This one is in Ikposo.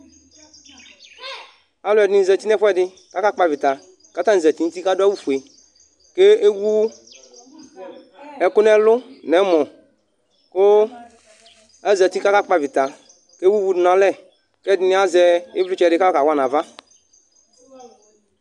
Alʋɛdìní zɛti nʋ ɛfʋɛdi kʋ akakpɔ avita kʋ atani zɛti nʋ ʋti kʋ adu awu fʋe kʋ ewu ɛku nʋ ɛlu nʋ ɛmɔ kʋ azɛti kʋ akakpɔ avita kʋ ewu ʋvu du nʋ alɛ kʋ ɛdiní azɛ ivlitsɛ di kʋ ayɔ kawa nʋ ava